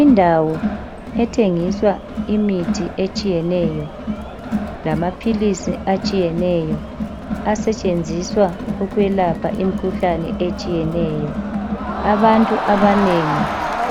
Indawo ethengiswa imithi etshiyeneyo lamaphilisi atshiyeneyo asetshenziswa ukwelapha imikhuhlane etshiyeneyo abantu abanengi